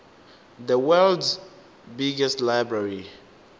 the worlds biggest library